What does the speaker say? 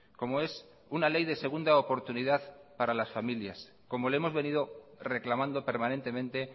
como es una ley de segunda oportunidad para las familias como le hemos venido reclamando permanentemente